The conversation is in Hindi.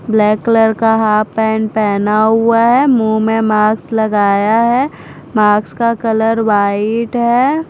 ब्लैक कलर का हाफ पैन्ट पहना हुआ है मुंह में मास्क लगाया है मास्क का कलर व्हाईट है।